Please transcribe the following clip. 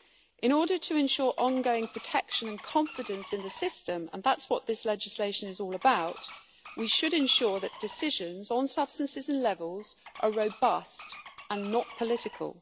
In order to ensure ongoing protection and confidence in the system, and that is what this legislation is all about, we should ensure that decisions on substances and levels are robust and not political.